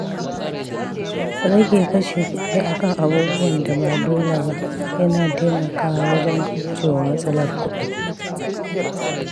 Rage kashe kuɗi a kan abubuwan da ba dole ba yana taimakawa wajen kauce wa matsalar kuɗi.